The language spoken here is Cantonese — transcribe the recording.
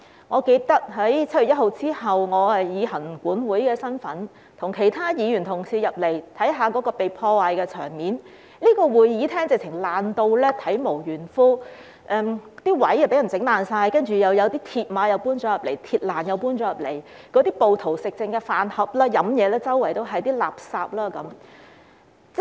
我記得7月1日之後，我以行政管理委員會委員的身份，與其他議員同事進入會議廳，看一看被破壞的場面，這個會議廳簡直是被破壞到體無完膚，座位被人毀壞，有鐵馬和鐵欄搬進來，暴徒吃剩的飯盒、飲品和垃圾隨處可見。